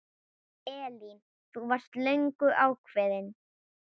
Elín: Þú varst löngu ákveðin?